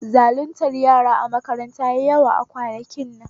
Zaluntar yara a makaranta yayi yawa kwanakin nan